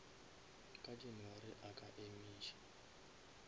ka january a ka emiša